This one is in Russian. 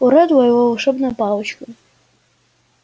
у реддла его волшебная палочка